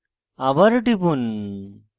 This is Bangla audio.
আবার টিপুন